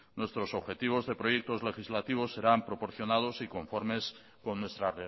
nuestros objetivos de proyectos legislativos serán proporcionados y conformes con nuestra